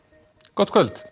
gott kvöld